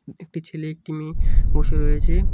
একটি ছেলে একটি মেয়ে বসে রয়েছে।